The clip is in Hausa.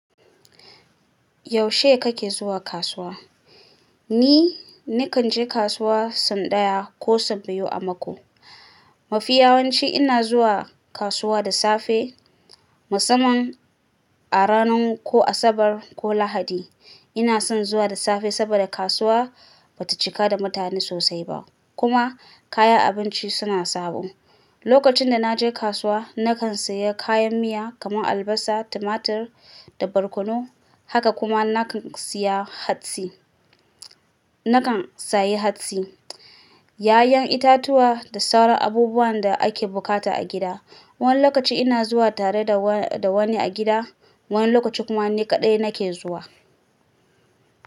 Yaushe kake zuwa kasuwa? Ni, nakan je kasuwa San daya ko Sau biyu a mako. Mafiyawanci ina zuwa kasuwa da safe musamman a ranar ko Asabar ko Lahadi. Ina son zuwa da safe saboda kasuwa bata cika da mutane sosai ba kuma kayan abinci suna sabo. Lokacin da na je kasuwa, nakan siya kayan miya kamar albasa, tumatir da barkono. Haka kuma nakan siya hatsi, nakan sayi hatsi, ƴaƴan itatuwa da sauran abubuwan da ake bukata a gida. Wani lokaci ina zuwa tare da wani a gida, wani lokaci kuma ni kaɗai nake zuwa.